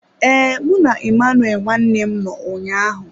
Ee, mụ na Emmanuel nwanne m nọ ụnyaahụ.